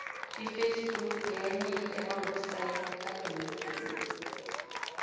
iface book ngenye yamawepsaydi adume khulu